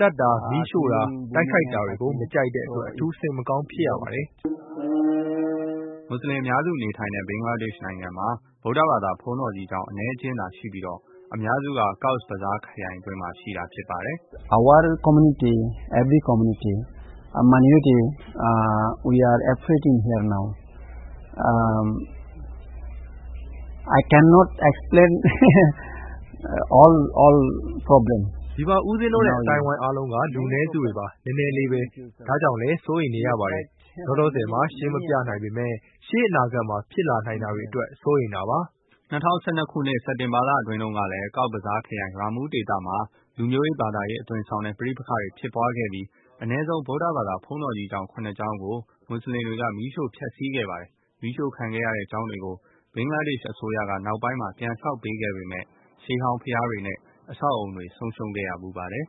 သတ်တာ၊ မီးရှို့တာ၊ တိုက်ခိုက်တာတွေကို မကြိုက်တဲ့အတွက် အထူး စိတ်မကောင်းဖြစ်ရပါတယ်။” မူဆလင်အများစု နေထိုင်တဲ့ ဘင်္ဂလားဒေ့ရှ်နိုင်ငံမှာ ဗုဒ္ဓဘာသာ ဘုန်းတော်ကြီးကျောင်း အနည်းအကျဉ်းသားရှိပြီး အများစုက Cox's Bazar ခရိုင်အတွင်းမှာ ဖြစ်ပါတယ်။ “ ဒီမှာ ဦးပဉ္စင်းတို့နဲ့ အသိုင်းအဝိုင်း အားလုံးက လူနည်းစုတွေပါ။ နည်းနည်းလေးပဲ ဒါကြောင့်လည်း စိုးရိမ်နေရတယ်။ လောလောဆယ် မှာ ရှင်းမပြနိုင်ပေမဲ့ ရှေ့အနာဂတ်မှာ ဖြစ်လာနိုင်တာတွေအတွက် စိုးရိမ်တာပါ။” ၂၀၁၂ ခုနှစ် စက်တင်ဘာလအတွင်းကလည်း ကောက်ဇ်ဘဇားခရိုင် ရာမူး ဒေသမှာ လူမျိုးရေး ဘာသာရေးအသွင်ဆောင်တဲ့ ပဋိပက္ခတွေ ဖြစ်ပွားခဲ့ပြီး အနည်းဆုံး ဗုဒ္ဓဘာသာ ဘုန်းတော်ကြီးကျောင်း ၇ ကျောင်းကို မူဆလင်တွေက မီးရှို့ဖျက်ဆီးခဲ့ပါတယ်။ မီးရှို့ခံခဲ့ရတဲ့ ကျောင်းတွေကို ဘင်္ဂလားဒေ့ရှ်အစိုးရက နောက်ပိုင်းမှာ ပြန်ဆောက်ပေးခဲ့ပေမယ့် ရှေးဟောင်း ဘုရားတွေနဲ့ အဆောက်အအုံတွေ ဆုံးရှုံးခဲ့ဖူး ပါတယ်။